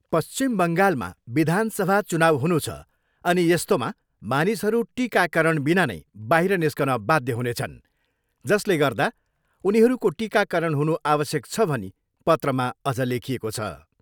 पश्चिम बङ्गालमा विधानसभा चुनाउ हुनु छ अनि यस्तोमा मानिसहरू टिकाकरणबिना नै बाहिर निस्कन बाध्य हुनेछन् जसले गर्दा उनीहरूको टिकाकरण हुनु आवश्यक छ भनी पत्रमा अझ लेखिएको छ।